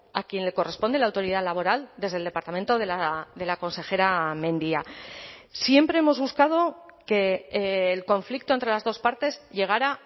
a quien le corresponde la autoridad laboral desde el departamento de la consejera mendia siempre hemos buscado que el conflicto entre las dos partes llegará